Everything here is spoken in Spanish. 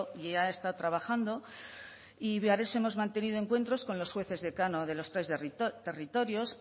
y ya está trabajando y hemos mantenido encuentros con los jueces decano de los tres territorios